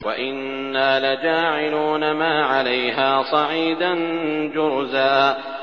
وَإِنَّا لَجَاعِلُونَ مَا عَلَيْهَا صَعِيدًا جُرُزًا